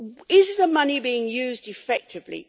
Is the money being used effectively?